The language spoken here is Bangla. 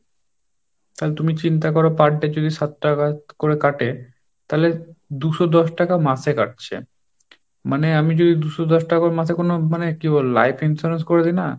তাহলে তুমি চিন্তা করো per day যদি সাত টাকা করে কাটে তাহলে দু'শো দশ টাকা মাসে কাটছে, মানে আমি যদি দু'শো দশ টাকা করে মাসে কোন মানে কি বলবো life insurance করে রাখি না,